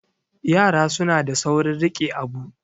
yara suna da saurin rike Abu